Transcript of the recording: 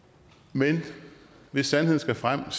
men hvis sandheden skal frem er